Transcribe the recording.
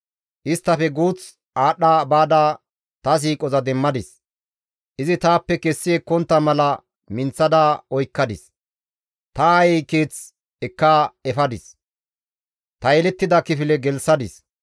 Isttafe guuth aadhdha baada ta siiqoza demmadis; izi taappe kessi ekkontta mala minththada oykkadis; ta aayey keeth ekka efadis; ta yelettida kifile gelththadis.